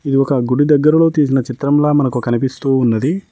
ఒక గుడి దగ్గరలో తీసిన చిత్రంలో మనకు కనిపిస్తూ ఉన్నది.